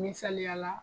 Misaliyala